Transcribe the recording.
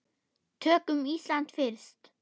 Tökum Ísland fyrst.